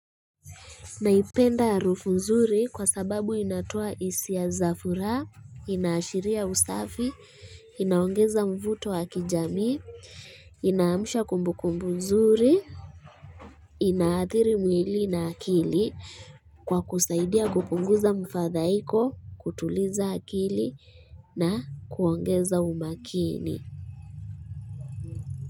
Naipenda ya harufu nzuri kwa sababu inatoa hisia za furaha, inaashiria usafi, inaongeza mvuto wa kijami, inaamsha kumbukumbu nzuri, inaathiri mwili na akili kwa kusaidia kupunguza mfadhaiko, kutuliza akili na kuongeza umakini.